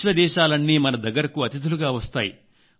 విశ్వ దేశాలన్నీ మన దగ్గరకు అతిథులుగా వస్తాయి